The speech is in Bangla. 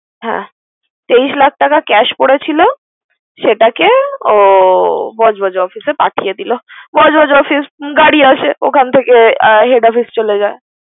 হ্যা তেইশ লাখ টাকা cash করেছিল। সেটাকে ও বজবজ office এ পাঠিয়ে দিল। বজবজ office এ গাড়ি আছে ওখান থেকে এ head office চলে যায়।